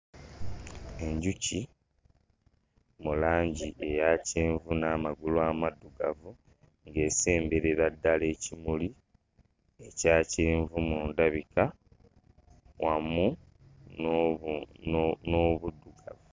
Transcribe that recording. Enjuki mu langi eya kyenvu n'amagulu amaddugavu, ng'esemberera ddala ekimuli ekya kyenvu mu ndabika wamu n'obu n'obuddugavu.